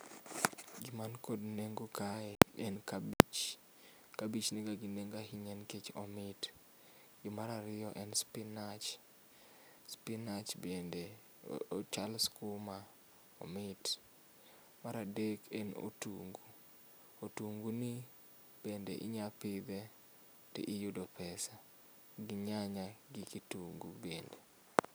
gim anikod nengo kae en kabich, kabich niga ngi nengo ahinya nikech omit. Gimar ariyo en spinach, spinach bende ochal skuma, omit. Mar adek en otungu, otungu ni bende inya pidhe to iyudo pesa gi nyanya gi kitungu bende